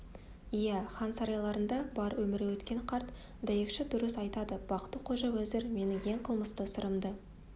иә хан сарайларында бар өмірі өткен қарт дәйекші дұрыс айтады бақты-қожа уәзір менің ең қылмысты сырымды